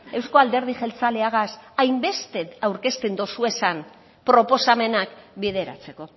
euzko alderdi jeltzaleagaz hainbeste aurkezten dozuezan proposamenak bideratzeko